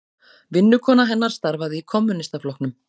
Vinnukona hennar starfaði í Kommúnistaflokknum.